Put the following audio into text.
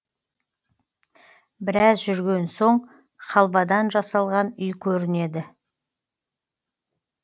біраз жүрген соң халвадан жасалған үй көрінеді